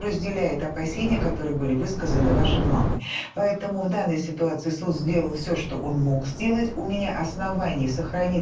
разделяет опасения которые были высказаны вашей мамой поэтому в данной ситуации суд сделал все что он мог сделать у меня основание сохранить